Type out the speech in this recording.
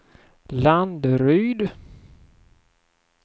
Landeryd